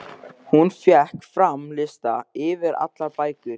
Hún fékk fram lista yfir allar bækur